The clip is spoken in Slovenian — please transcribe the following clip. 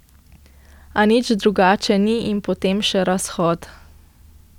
A nič drugače ni in potem še razhod.